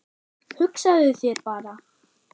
Hugsaðu þér bara